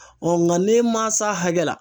nga ne ma s'a hakɛ la